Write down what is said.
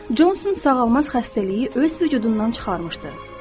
Johnson sağalmaz xəstəliyi öz vücudundan çıxarmışdı.